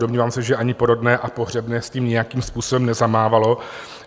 Domnívám se, že ani porodné a pohřebné s tím nějakým způsobem nezamávalo.